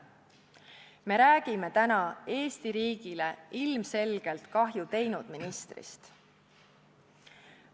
Me räägime täna Eesti riigile ilmselgelt kahju teinud ministrist.